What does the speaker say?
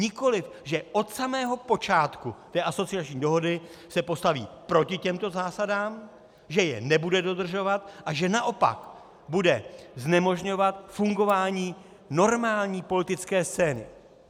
Nikoli že od samého počátku té asociační dohody se postaví proti těmto zásadám, že je nebude dodržovat, a že naopak bude znemožňovat fungování normální politické scény.